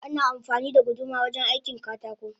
Ana amfani da guduma wajen aikin katako